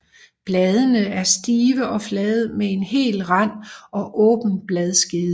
Bladene er stive og flade med hel rand og åben bladskede